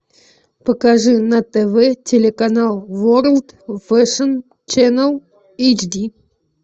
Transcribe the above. покажи на тв телеканал ворлд фэшн ченл эйч ди